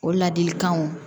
O ladilikanw